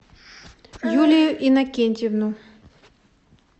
юлию иннокентьевну